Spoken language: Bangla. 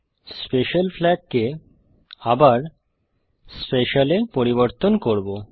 স্পেশাল ফ্লাগ কে আবার স্পেশাল-এ পরিবর্তন করব